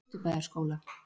Austurbæjarskóla